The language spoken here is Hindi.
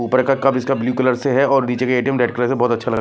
उपर का ब्लू कलर से है और नीचे के एटीएम रेड कलर से बहुत अच्छा लग रहा --